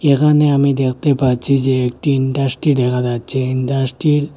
এখানে আমি দেখতে পাচ্ছি যে একটি ইনডাসটি দেখা যাচ্ছে ইনডাসটির --